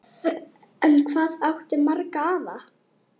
En hvað áttu marga afa?